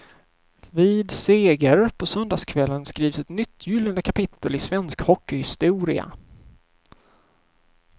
Vid seger på söndagskvällen skrivs ett nytt gyllene kapitel i svensk hockeyhistoria.